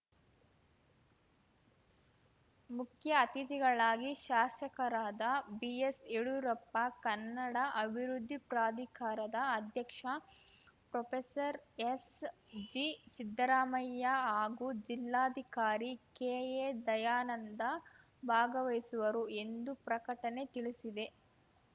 ಮುಖ್ಯ ಅತಿಥಿಗಳಾಗಿ ಶಾಸಕರಾದ ಬಿಎಸ್‌ ಯಡೂರಪ್ಪ ಕನ್ನಡ ಅಭಿವೃದ್ಧಿ ಪ್ರಾಧಿಕಾರದ ಅಧ್ಯಕ್ಷ ಪ್ರೊಫೆಸರ್ಎಸ್‌ಜಿ ಸಿದ್ಧರಾಮಯ್ಯ ಹಾಗೂ ಜಿಲ್ಲಾಧಿಕಾರಿ ಕೆಎ ದಯಾನಂದ ಭಾಗವಹಿಸುವರು ಎಂದು ಪ್ರಕಟಣೆ ತಿಳಿಸಿದೆ